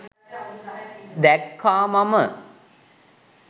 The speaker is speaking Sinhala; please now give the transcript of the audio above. දැක්කා මම.